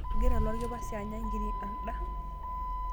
Egira lorkipasia anya nkiri alda.